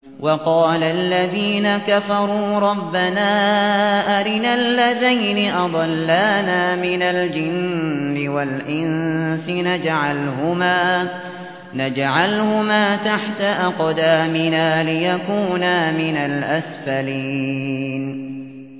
وَقَالَ الَّذِينَ كَفَرُوا رَبَّنَا أَرِنَا اللَّذَيْنِ أَضَلَّانَا مِنَ الْجِنِّ وَالْإِنسِ نَجْعَلْهُمَا تَحْتَ أَقْدَامِنَا لِيَكُونَا مِنَ الْأَسْفَلِينَ